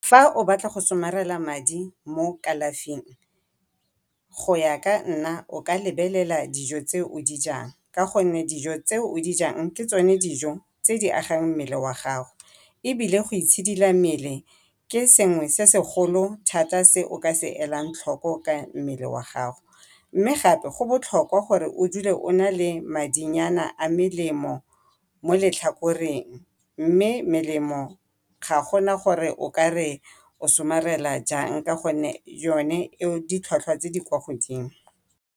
Fa o batla go somarela madi mo kalafing go ya ka nna o ka lebelela dijo tse o dijang ka gonne dijo tse o di jang ke tsone dijo tse di agang mmele wa gago, ebile go itshidila mmele ke sengwe se segolo thata se o ka se elang tlhoko ka mmele wa gago. Mme gape go botlhokwa gore o dule o na le madinyana a melemo mo letlhakoreng mme melemo ga gona gore o ka re o somarela jang ka gore yone e ditlhwatlhwa tse di kwa godimo.